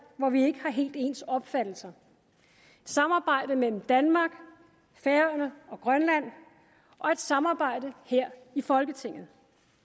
hvor vi ikke har helt ens opfattelser samarbejdet mellem danmark færøerne og grønland og et samarbejde her i folketinget